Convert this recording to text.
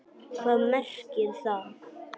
Hvað merkir það?!